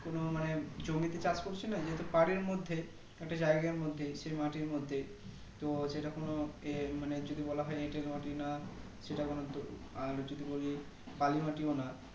কোনো মানে জমিতে চাষ করছি না যেহেতু বাড়ির মধ্যে সেই জায়গার মধ্যেই তো সেটা কোনো ইয়ে যদি বলা হয় এটেল মাটি না সেটা কোনো দো আর যদি বলি বালি মাটিও না